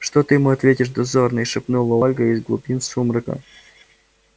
что ты ему ответишь дозорный шепнула ольга из глубин сумрака